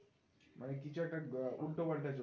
মানে কিছু একটা উল্টোপাল্টা